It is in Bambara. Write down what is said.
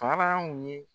Faraw ye